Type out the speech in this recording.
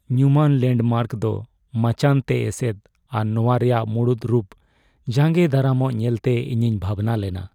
ᱧᱩᱢᱟᱱ ᱞᱮᱱᱰᱢᱟᱨᱠ ᱫᱚ ᱢᱟᱪᱟᱱᱛᱮ ᱮᱥᱮᱫ ᱟᱨ ᱱᱚᱶᱟ ᱨᱮᱭᱟᱜ ᱢᱩᱲᱩᱫ ᱨᱩᱯ ᱡᱟᱸᱜᱮ ᱫᱟᱨᱟᱢᱚᱜ ᱧᱮᱞᱛᱮ ᱤᱧᱤᱧ ᱵᱷᱟᱵᱽᱱᱟ ᱞᱮᱱᱟ ᱾